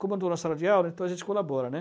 Comandou na sala de aula, então a gente colabora.